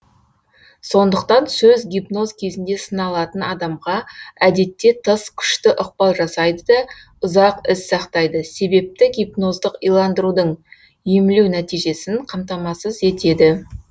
сондықтан сөз гипноз кезінде сыналатын адамға әдетте тыс күшті ықпал жасайды да ұзақ із сақтайды себепті гипноздық иландырудың емлеу нәтижесін қамтамасыз етеді